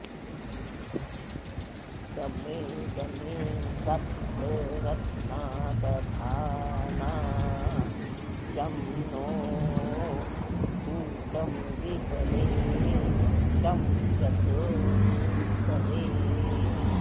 दमे॑दमे स॒प्त रत्ना॒ दधा॑ना॒ शं नो॑ भूतं द्वि॒पदे॒ शं चतु॑ष्पदे